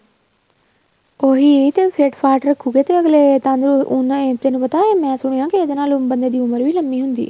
ਹੋਈ ਫਿੱਟ ਫਾਟ ਰੱਖੂਗੇ ਤੇ ਅੱਗਲੇ ਉਹਨਾ ਏ ਤੈਨੂੰ ਪਤਾ ਏ ਮੈਂ ਸੁਣਿਆ ਇਹਦੇ ਨਾਲ ਬੰਦੇ ਦੀ ਉਮਰ ਵੀ ਲੰਬੀ ਹੁੰਦੀ ਏ